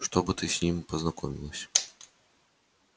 чтобы ты с ним познакомилась